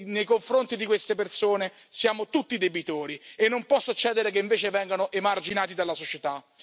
Nei confronti di queste persone siamo tutti debitori e non può succedere che invece vengano emarginati dalla società.